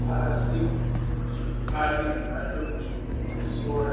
Pasi pane mhando mbiri dzesora.